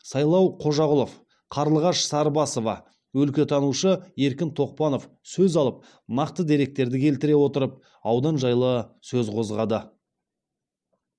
сайлау қожағұлов қарлығаш сарыбасова өлкетанушы еркін тоқпанов сөз алып нақты деректерді келтіре отырып аудан жайлы сөз қозғады